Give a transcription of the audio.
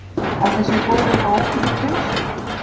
Ætli sé boðið upp á ókeypis pylsur?